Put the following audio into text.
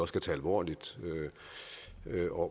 skal tage alvorligt